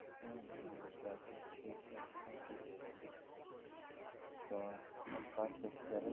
হম হম বুঝতে পারছি ঠিকই আছে না ঠিকই বললি তো এক কাজ করছি তাহলে